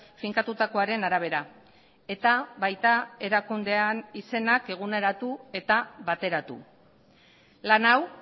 finkatutakoaren arabera eta baita erakundean izenak eguneratu eta bateratu lan hau